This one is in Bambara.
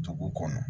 Dugu kɔnɔ